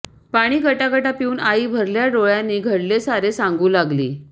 पाणी गटगटा पिऊन आई भरल्या डोळ्यांनी घडले सारे सांगू लागली